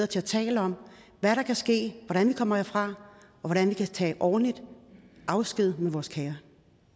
til at tale om hvad der kan ske hvordan man kommer herfra og hvordan vi kan tage ordentligt afsked med vores kære